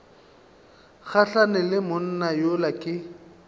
gahlane le monna yola ke